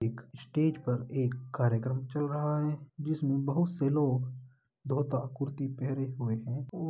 एक स्टेज पर एक कार्यक्रम चल रहा है जिसमे बहुत से लोग धोता कुर्ती पहने हुए हैं ओ --